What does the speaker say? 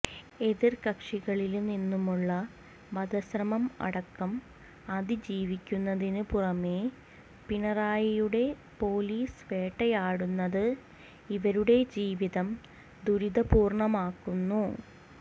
എതിര് കക്ഷികളില് നിന്നുമുള്ള വധശ്രമം അടക്കം അതിജീവിക്കുന്നതിന് പുറമെ പിണറായിയുടെ പോലീസ് വേട്ടയാടുന്നത് ഇവരുടെ ജീവിതം ദുരിതപൂര്ണ്ണമാക്കുന്നു